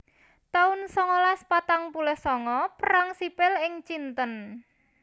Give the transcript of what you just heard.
taun songolas patang puluh sanga Perang Sipil ing Cinten